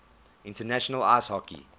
international ice hockey